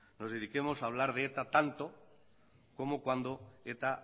nos dediquemos a hablar de eta tanto como cuando eta